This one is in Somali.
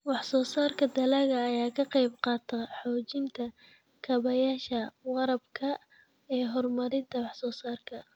Wax-soo-saarka dalagga ayaa ka qayb qaata xoojinta kaabayaasha waraabka ee horumarinta wax-soo-saarka.